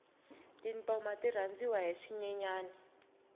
tintoma ti rhandziwa hi swinyenyani